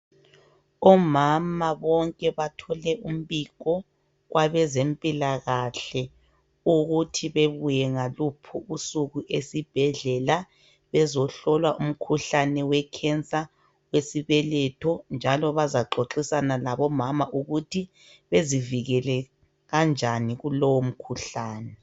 Omama bonke bathole umbiko kwabezempilakahle ukuthi bebuye ngaluphi usuku esibhedlela bezohlolwa umkhuhlane wekhensa esibeletho njalo bazaxoxisana labomama ukuthi bezivikele kanjani kulowo mkhuhlane.